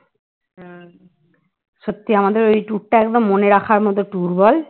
সত্যিই আমাদের ওই tour টা একদম মনে রাখার মতন tour বল